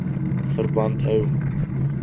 obpv verband hou